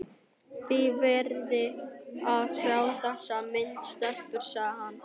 Þið verðið að sjá þessa mynd, stelpur! sagði hann.